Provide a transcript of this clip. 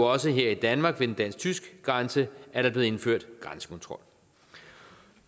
også her i danmark ved den dansk tyske grænse er der blevet indført grænsekontrol